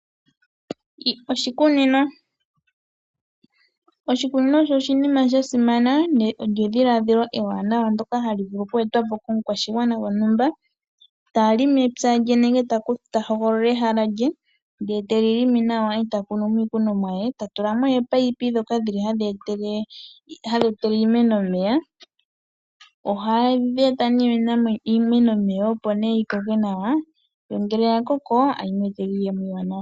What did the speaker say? Oshikunino, oshikunino osho sha simana na olyo edhiladhilo ewanawa ndoka hali etwa po komukwashigwana gontumba ta longo epya lye nenge ta hogolola ehala lye ndele ete li longo nawa eta munu mo iikunomwa ye. Ohatu tula mo oopaiyipi ndhoka hadhi etele iimeno omeya, ohadhi etele iimeno omeya opo yi koke nawa yo ngele ya koko tayi mweetela iiyemo iiwanawa.